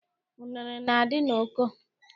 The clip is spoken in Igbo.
Unere na- adị n'oko